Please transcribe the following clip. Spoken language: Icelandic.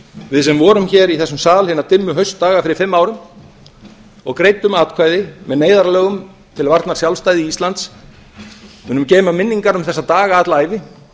við sem vorum hér í þessum sal hina dimmu haustdaga fyrir fimm árum og greiddum atkvæði með neyðarlögum til varnar sjálfstæði íslands munum geyma minningar um þessa daga alla ævi